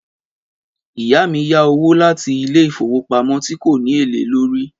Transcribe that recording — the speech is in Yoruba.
Ìyá mí yá owó láti ilé ìfowópamọ́ tí kò ní èlé lórí.